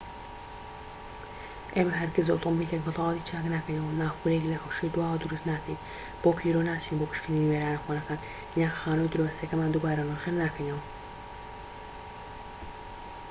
ئێمە هەرگیز ئۆتۆمۆبیلێک بە تەواوەتی چاک ناکەینەوە نافورەیەک لە حەوشەی دواوە دروست ناکەین بۆ پیرۆ ناچین بۆ پشکنینی وێرانە کۆنەکان یان خانووی دراوسێکەمان دووبارە نۆژەن ناکەینەوە